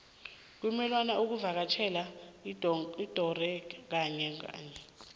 kumelwe uvakatjhele udogodera kanye ngonyaka